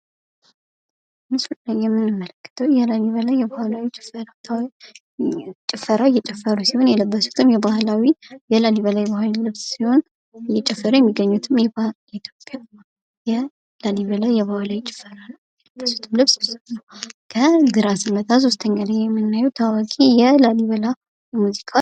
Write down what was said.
ምስሉ ላይ የምንመለከተው የላሊበላ ባህላዊ ጭፈራ እየጨፈሩ ሲሆን የለበሱትም የባህላዊ የላሊበላ የባህላዊ ልብስ ሲሆን እየጨፈሩ የሚገኙትም የላሊበላ የባህላዊ ጭፈራ ነው። የለበሱትም ልብስ ከግራ ስንመጣ 3ኛ ላይ የምናደርገው ታዋቂ የላሊበላ ሙዚቃ።